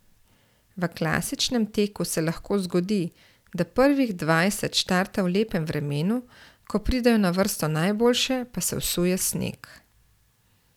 V klasičnem teku se lahko zgodi, da prvih dvajset starta v lepem vremenu, ko pridejo na vrsto najboljše, pa se vsuje sneg.